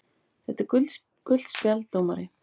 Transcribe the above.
. þetta er gult spjald dómari!!!